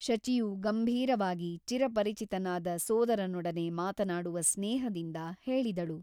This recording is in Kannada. ಶಚಿಯು ಗಂಭೀರವಾಗಿ ಚಿರಪರಿಚಿತನಾದ ಸೋದರನೊಡನೆ ಮಾತನಾಡುವ ಸ್ನೇಹದಿಂದ ಹೇಳಿದಳು.